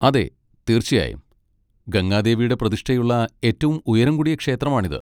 അതെ, തീർച്ചയായും. ഗംഗാദേവിയുടെ പ്രതിഷ്ഠയുള്ള ഏറ്റവും ഉയരം കൂടിയ ക്ഷേത്രമാണിത്.